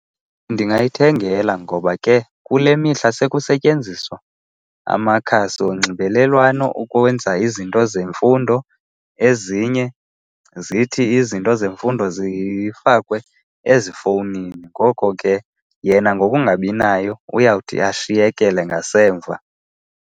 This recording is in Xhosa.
Ndingayithengela ngoba ke kule mihla sekusetyenziswa amakhasi wonxibelelwano ukwenza izinto zemfundo, ezinye zithi izinto zemfundo zifakwe ezifowunini. Ngoko ke yena ngokungabi nayo uyawuthi ashiyekele ngasemva.